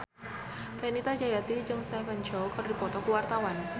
Fenita Jayanti jeung Stephen Chow keur dipoto ku wartawan